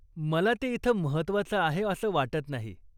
मला ते इथं महत्त्वाचं आहे असं वाटत नाही.